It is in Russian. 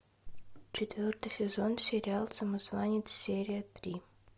четвертый сезон сериал самозванец серия три